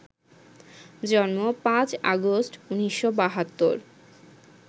জন্ম ৫ আগস্ট, ১৯৭২